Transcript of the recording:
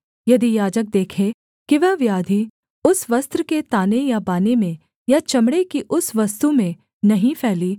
यदि याजक देखे कि वह व्याधि उस वस्त्र के ताने या बाने में या चमड़े की उस वस्तु में नहीं फैली